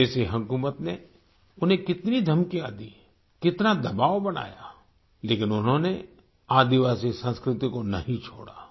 विदेशी हुकूमत ने उन्हें कितनी धमकियाँ दीं कितना दबाव बनाया लेकिन उन्होनें आदिवासी संस्कृति को नहीं छोड़ा